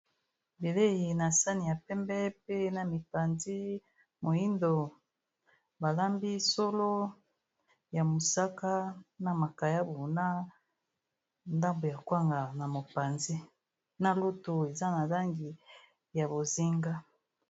Bilei na sani ya pembe, pe na mipanzi moindo balambi solo ya mosaka na makayabu na ndambo ya kwanga na mopanzi na lutu eza na langi ya bozinga.